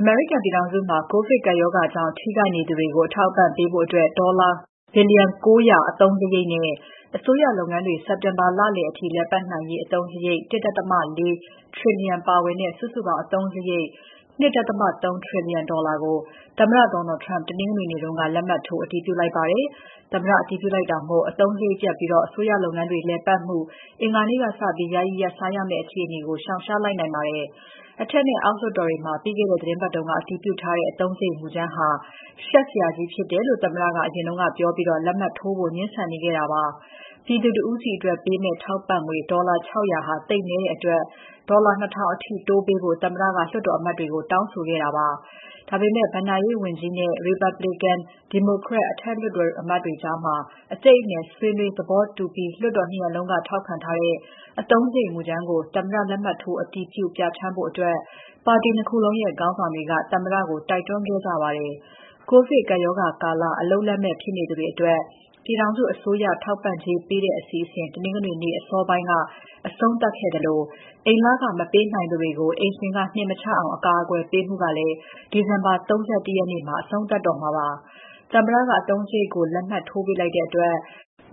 အမေရိကန်ပြည်ထောင်စုမှာ ကိုဗစ်ကပ်ရောဂါကြောင့် ထိခိုက်နေသူတွေကို အထောက်အပံ့ပေးဖို့ ဒေါ်လာ ၉၀၀ ဘီလီယံ အသုံးစရိတ်နဲ့ အစိုးရလုပ်ငန်းတွေ စက်တင်ဘာလအထိ လည်ပါတ်နိုင်နိုင်ရေးအသုံးစရိတ် ၁.၄ trillion ပါဝင်တဲ့ စုစုပေါင်း အစိုးရ အသုံးစရိတ် ၂.၃ ထရီလီယံကို သမ္မတ Donald Trump တနင်္ဂနွေနေ့က လက်မှတ်ထိုးအတည်ပြုလိုက်ပါတယ်။ သမ္မတ အတည်ပြုလိုက်တာမို့ အသုံးစရိတ်ပြတ်ပြီး အစိုးရလုပ်ငန်းတွေ လည်ပတ်မှု အင်္ဂါနေ့ကစပြီး ယာယီရပ်ဆိုင်းရမယ့် အခြေအနေကို ရှောင်ရှားလိုက်နိုင်ပါတယ်။ အထက်နဲ့ အောက်လွှတ်တော်တွေမှာ ပြီးခဲ့တဲ့ သီတင်းပတ်က အတည်ပြုထားတဲ့ အသုံးစရိတ်မူကြမ်းဟာ ရှက်စရာကြီးဖြစ်တယ်လို့ သမ္မတက အရင်ကပြောပြီး လက်မှတ်ထိုးဖို့ ငြင်းဆန်နေခဲ့တာပါ။ ပြည်သူတဦးစီအတွက်ပေးမယ့် ထောက်ပံ့ငွေ ဒေါ်လာ ၆၀၀ ဟာ သိပ်နည်းတဲ့အတွက် ဒေါ်လာ ၂,၀၀၀ အထိ တိုးပေးဖို့ သမ္မတက လွှတ်တော်အမတ်တွေကို တောင်းဆိုခဲ့ပါတယ်။ ဒါပေမဲ့ ဘဏ္ဍာရေးဝန်ကြီးနဲ့ Republican နဲ့ Democrat လွှတ်တော်အမတ်တွေကြား အကြိတ်အနယ်ဆွေးနွေး သဘောတူပြီး လွှတ်တော် ၂ ရပ်လုံးက ထောက်ခံထားတဲ့ အသုံးစရိတ်မူကြမ်းကို သမ္မတ လက်မှတ်ထိုး အတည်ပြု ပြဌာန်းဖို့ ပါတီ ၂ ခုလုံးရဲ့ ခေါင်းဆောင်တွေက သမ္မတကို တိုက်တွန်းခဲ့ကြပါတယ်။ ကိုဗစ်ကပ်ရောဂါကာလ အလုပ်လက်မဲ့ဖြစ်သူတွေအတွက် ပြည်ထောင်စုအစိုးရ ထောက်ပံ့ကြေးပေးတဲ့အစီအစဉ် တနင်္ဂနွေနေ့ အစောပိုင်း အဆုံးသတ်ခဲ့သလို၊ အိမ်လခမပေးနိုင်သူတွေကို အိမ်ရှင်က နှင်မချအောင် အကာအကွယ်ပေးမှုကလည်း ဒီဇင်ဘာ ၃၁ ရက်မှာ အဆုံးသတ်တော့မှာပါ။ သမ္မတက အသုံးစရိတ်ကို လက်မှတ်ထိုးပေးလိုက်တဲ့အတွက်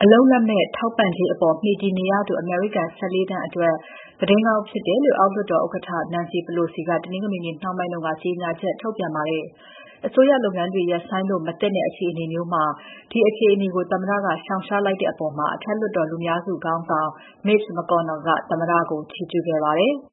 အလုပ်လက်မဲ့ ထောက်ပံ့ကြေးအပေါ် မှီတည်နေရသူ အမေရိကန် ၁၄ သန်းအတွက် သတင်းကောင်းဖြစ်တယ်လို့ အောက်လွှတ်တော် ဥက္ကဋ္ဌ Nancy Pelosi က တနင်္ဂနွေနေ့ နှောင်းပိုင်းက ကြေညာချက်ထုတ်ပြန်ပါတယ်။ အစိုးရလုပ်ငန်းတွေ ရပ်ဆိုင်းလို့မသင့်တဲ့ အခြေအနေမျိုးမှာ ဒီအခြေအနေကို သမ္မတက ရှောင်ရှားလိုက်တဲ့အပေါ် အထက်လွှတ်တော်လူများစုခေါင်းဆောင် Mitch McConnell ကသမ္မတကို ချီးကျူးခဲ့ပါတယ်။